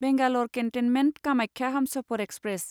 Bangalore cantonment Kamakhya Humsafar express